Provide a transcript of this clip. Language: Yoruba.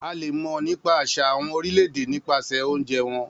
A le mọ nípa àṣà àwọn orílẹ̀-èdè nípasẹ̀ oúnjẹ wọn.